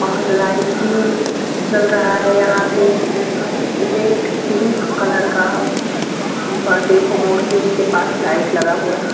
और लाइट भी जल रहा है यहाँ पे। रेट पिंक कलर का पर्दे को मोड़ के उसके पास लाइट लगा हुआ है।